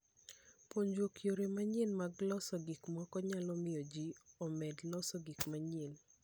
Puonjruok yore manyien mag loso gik moko nyalo miyo ji omed loso gik mang'eny.